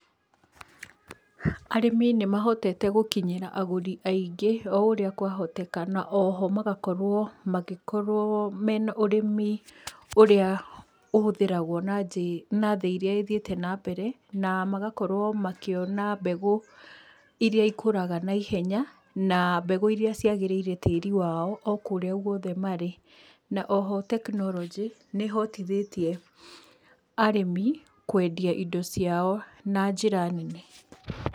Arĩmi nĩmahotete gũkinyĩra agũri aingĩ oũrĩa kwa hotekekana, oho magakorwo magĩkorwo mena ũrĩmi ũrĩa ũhũthĩragwo na njĩ, na thĩ iria ithiĩte na mbere, namagakorwo makĩona mbegũ iria ikũraga naihenya, na mbegũ iria ciagĩrĩire tĩri wao okũrĩa gũothe marĩ na oho tekinoronjĩ nĩhotithĩtie arĩmi kwendia indo ciao na njĩra nene.